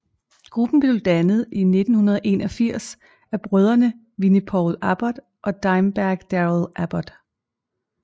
Gruppen blev dannet i 1981 af brødrene Vinnie Paul Abbott og Dimebag Darrell Abbott